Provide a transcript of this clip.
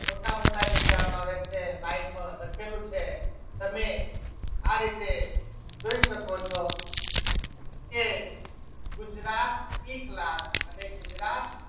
મોટા મોટા જે કહેવામાં આવે છે line માં લખેલું છે તમે આ રીતે જોઈ શકો છો કે ગુજરાતી class અને ગુજરાત